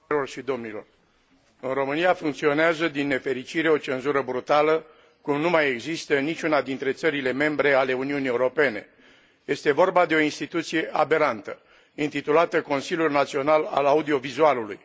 În România funcționează, din nefericire, o cenzură brutală, cum nu mai există în niciuna dintre țările membre ale Uniunii Europene este vorba de o instituție aberantă, intitulată Consiliul Național al Audiovizualului.